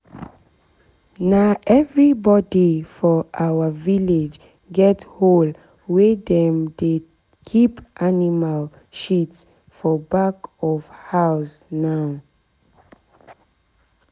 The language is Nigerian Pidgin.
na everybody for our village get hole wey dem dey keep animal shit for back of house now.